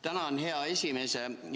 Tänan, hea esimees!